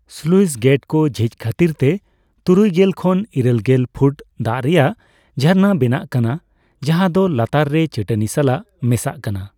Sluice ᱜᱮᱹᱴᱠᱚ ᱡᱷᱤᱡ ᱠᱷᱟᱛᱤᱨ ᱛᱮ ᱛᱩᱨᱩᱭᱜᱮᱞ ᱠᱷᱚᱱ ᱤᱨᱟᱹᱞᱜᱮᱞ ᱯᱷᱩᱴ ᱫᱟᱜ ᱨᱮᱭᱟᱜ ᱡᱷᱟᱨᱱᱟ ᱵᱮᱱᱟᱜ ᱠᱟᱱᱟ ᱡᱟᱦᱟᱸ ᱫᱚ ᱞᱟᱛᱟᱨ ᱨᱮ ᱪᱟᱹᱴᱟᱹᱱᱤ ᱥᱟᱞᱟᱜ ᱢᱮᱥᱟᱜ ᱠᱟᱱᱟ ᱾